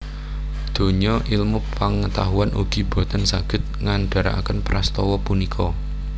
Donya ilmu pengetahuan ugi boten saged ngandharaken prastawa punika